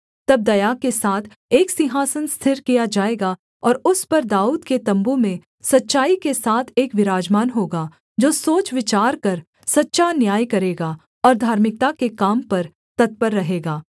तब दया के साथ एक सिंहासन स्थिर किया जाएगा और उस पर दाऊद के तम्बू में सच्चाई के साथ एक विराजमान होगा जो सोच विचार कर सच्चा न्याय करेगा और धार्मिकता के काम पर तत्पर रहेगा